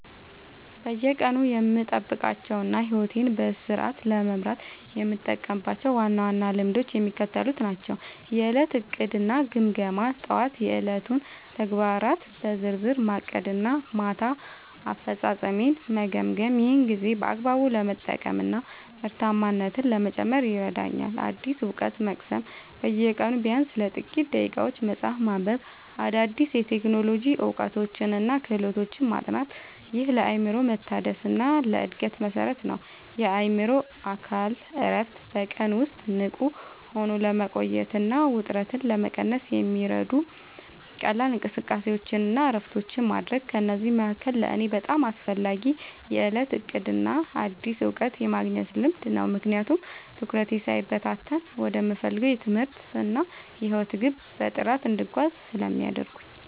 በየቀኑ የምጠብቃቸውና ሕይወቴን በስርዓት ለመምራት የምጠቀምባቸው ዋና ዋና ልማዶች የሚከተሉት ናቸው፦ የዕለት ዕቅድና ግምገማ፦ ጠዋት የዕለቱን ተግባራት በዝርዝር ማቀድና ማታ አፈጻጸሜን መገምገም። ይህ ጊዜን በአግባቡ ለመጠቀምና ምርታማነትን ለመጨመር ይረዳኛል። አዲስ እውቀት መቅሰም፦ በየቀኑ ቢያንስ ለጥቂት ደቂቃዎች መጽሐፍ ማንበብ፣ አዳዲስ የቴክኖሎጂ እውቀቶችንና ክህሎቶችን ማጥናት። ይህ ለአእምሮ መታደስና ለዕድገት መሠረት ነው። የአእምሮና አካል እረፍት፦ በቀን ውስጥ ንቁ ሆኖ ለመቆየትና ውጥረትን ለመቀነስ የሚረዱ ቀላል እንቅስቃሴዎችንና እረፍቶችን ማድረግ። ከእነዚህ መካከል ለእኔ በጣም አስፈላጊው የዕለት ዕቅድና አዲስ እውቀት የማግኘት ልማድ ነው፤ ምክንያቱም ትኩረቴ ሳይበታተን ወደምፈልገው የትምህርትና የሕይወት ግብ በጥራት እንድጓዝ ስለሚያደርጉኝ።